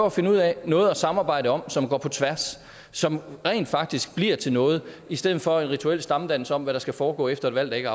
at finde ud af noget at samarbejde om som går på tværs som rent faktisk bliver til noget i stedet for at udføre en rituel stammedans om hvad der skal foregå efter et valg der ikke